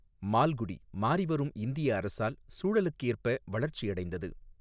மால்குடி, மாறிவரும் இந்திய அரசியல் சூழலுக்கேற்ப வளர்ச்சியடைந்தது.